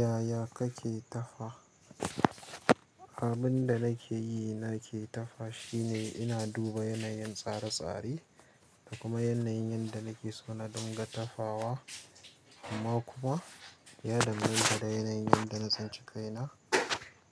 Yaya kake tafa? Abin da nake yi nake tafa shine ina duba yanayin tsare-tsare, da kuma yanayin yanda nike so na dinga tafawa, amma kuma ya danganta da yanayin yanda na tsinci kaina,